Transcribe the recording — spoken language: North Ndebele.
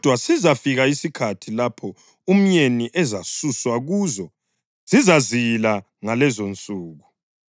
Kodwa sizafika isikhathi lapho umyeni ezasuswa kuzo; zizazila ngalezonsuku.”